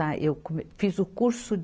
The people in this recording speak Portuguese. Eu come, fiz o curso.